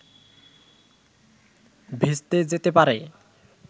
ভেস্তে যেতে পারে